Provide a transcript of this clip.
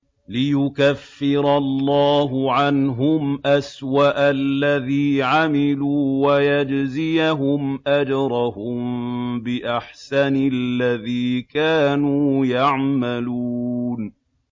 لِيُكَفِّرَ اللَّهُ عَنْهُمْ أَسْوَأَ الَّذِي عَمِلُوا وَيَجْزِيَهُمْ أَجْرَهُم بِأَحْسَنِ الَّذِي كَانُوا يَعْمَلُونَ